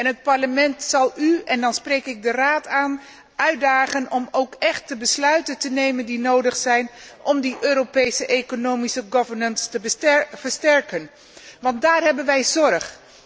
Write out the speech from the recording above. Het Parlement zal u en dan spreek ik de Raad aan uitdagen om ook echt de besluiten te nemen die nodig zijn om de Europese economische governance te versterken, want daarover maken wij ons zorgen.